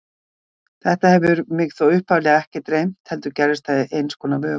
Þetta hafði mig þó upphaflega ekki dreymt, heldur gerðist það í einskonar vöku.